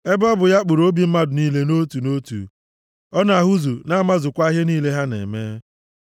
Ebe ọ bụ ya kpụrụ obi mmadụ niile nʼotu na otu; ọ na-ahụzu, na-amazukwa ihe niile ha na-eme.